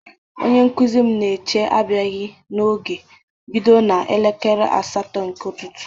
Onye nkụzi m na eche abịaghị n'oge bido na elekere asatọ nke ụtụtụ